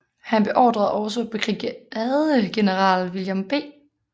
Han beordrede også brigadegeneral William B